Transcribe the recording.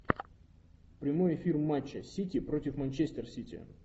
прямой эфир матча сити против манчестер сити